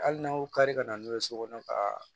Hali n'a y'o kari ka na n'o ye so kɔnɔ ka